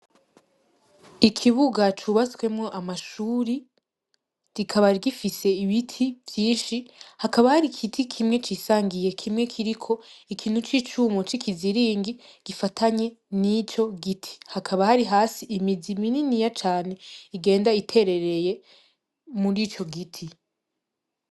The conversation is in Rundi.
Ikibuga cubatswemwo amashuri. Kikaba gifise ibiti vyinshi hakaba hari igiti kimwe cisangiye kiriko ikintu c'icumu c'ikiziringi gifatanye n'ico giti. Hakaba hari hasi imizi mininiya cane igenda iterereye mur'ico giti.